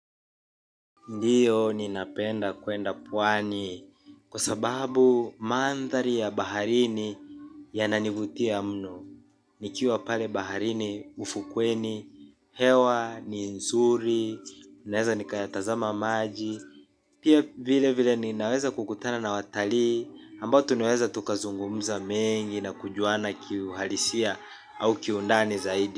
Ndiyo ninapenda kwenda pwani kwa sababu mandhari ya baharini yananivutia mno. Nikiwa pale baharini ufukweni, hewa, ni nzuri, ninaweza nikayatazama maji. Pia vile vile ninaweza kukutana na watalii ambao tunaweza tukazungumza mengi na kujuana kiuhalisia au kiundani zaidi.